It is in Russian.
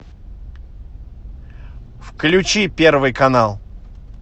включи первый канал